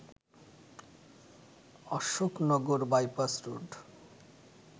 Ashoknagar bypass road